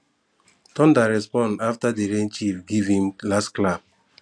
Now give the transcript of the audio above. thunder respond after the rain chief give him last clap